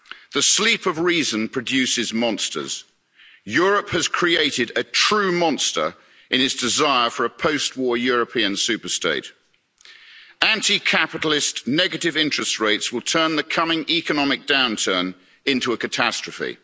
The sleep of reason produces monsters. Europe has created a true monster in its desire for a post war European super state. Anti capitalist negative interest rates will turn the coming economic downturn into a catastrophe.